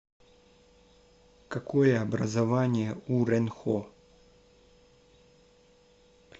какое образование у рэнхо